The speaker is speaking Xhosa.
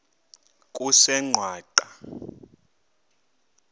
kusengwaqa